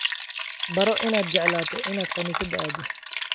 Baro inaad jeclaato inaad kaniisada aado.